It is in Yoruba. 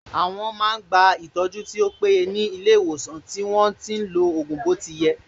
Àwọn ---- máa ń gba ìtọ́jú tó péye ní ilé ìwòsàn tí wọ́n lo ògùn bó ti yẹ